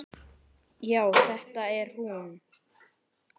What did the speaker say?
Já, þetta er hún.